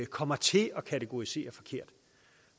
kommer til at kategorisere forkert